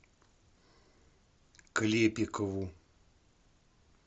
клепикову